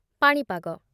ପାଣିପାଗ